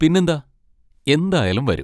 പിന്നെന്താ! എന്തായാലും വരും.